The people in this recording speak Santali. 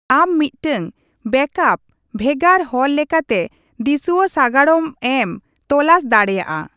ᱟᱢ ᱢᱤᱫᱴᱟᱝ ᱵᱮᱠᱽᱟᱯ ᱵᱷᱮᱜᱟᱨ ᱦᱚᱨ ᱞᱮᱠᱟᱛᱮ ᱫᱤᱥᱩᱣᱟᱹ ᱥᱟᱜᱟᱲᱚᱢ ᱮᱢ ᱛᱚᱞᱟᱥ ᱫᱟᱲᱮᱭᱟᱜᱼᱟ ?